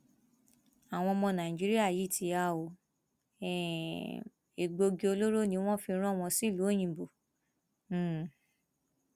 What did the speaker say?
àwọn ọmọ nàìjíríà yìí ti há um ọ egbòogi olóró ni wọn fi rán wọn sílùú òyìnbó um